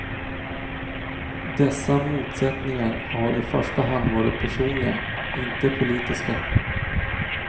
Dessa motsättningar har i första hand varit personliga, inte politiska.